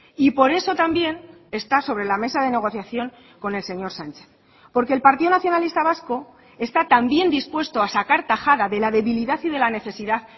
y por eso también está sobre la mesa de negociación con el señor sánchez porque el partido nacionalista vasco está también dispuesto a sacar tajada de la debilidad y de la necesidad